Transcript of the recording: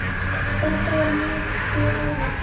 Þetta var mikið álag.